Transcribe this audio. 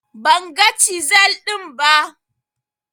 Ban ga cizel ɗin ba